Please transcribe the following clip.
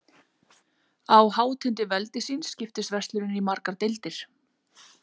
Á hátindi veldi síns skiptist verslunin í margar deildir.